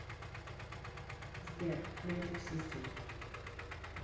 сбер мэджик систем